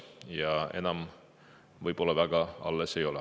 Seda enam väga alles ei ole.